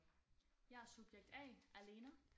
Jeg er subjekt A Alena